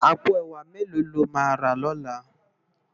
Àpó èwá méló ló má rá lòlá?